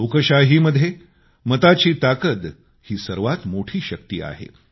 लोकशाहीमध्ये मताची ताकद ही सर्वात मोठी शक्ती आहे